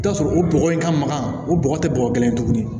I bi t'a sɔrɔ o bɔgɔ in ka magan o bɔgɔ te bɔgɔ kelen tuguni